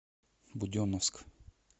буденновск